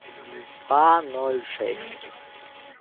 два ноль шесть